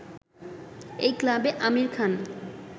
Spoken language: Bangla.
এই ক্লাবে আমির খান